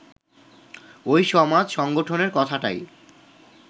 ওই সমাজ-সংগঠনের কথাটাই